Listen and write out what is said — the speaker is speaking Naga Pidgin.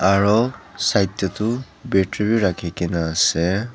aru side tae toh battery vi rakhina ase.